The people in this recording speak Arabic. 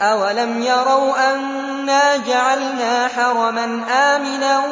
أَوَلَمْ يَرَوْا أَنَّا جَعَلْنَا حَرَمًا آمِنًا